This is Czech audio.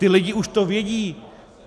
Ty lidi už to vědí.